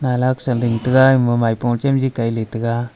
saling taiga ema maipo chamji kailey taiga.